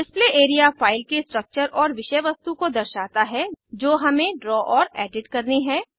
display area file के structures और विषय वस्तु को दर्शाता है जो हम ड्रा और एडिट करते है